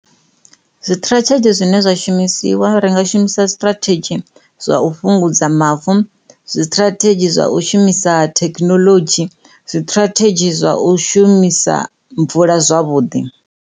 Zwiṱirathedzhi zwine zwashu imisiwa ri nga shumisa zwiṱirathedzhi zwa fhungudza mavu, zwiṱirathedzhi zwa u shumisa thekinolodzhi, zwiṱirathedzhi zwa u shumisa mvula zwavhuḓi.